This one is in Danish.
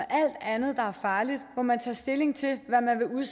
man